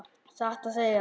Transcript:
Satt að segja.